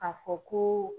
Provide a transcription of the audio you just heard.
A fɔ ko